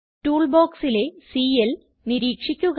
tool ബോക്സിലെ CL നിരീക്ഷിക്കുക